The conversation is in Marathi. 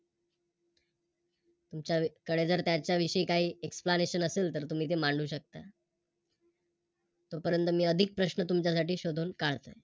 तुमच्याकडे जर त्यांच्याविषयी काही Explanation असेल तर तुम्ही ते मांडू शकता. तोपर्यंत मी अधिक प्रश्न तुमच्यासाठी शोधून काढते.